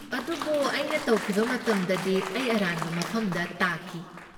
ꯑꯗꯨꯕꯨ ꯑꯩꯅ ꯇꯧꯈꯤꯕ ꯃꯇꯝꯗꯗꯤ, ꯑꯩ ꯑꯔꯥꯟꯕ ꯃꯐꯝꯗ ꯇꯥꯈꯤ ꯫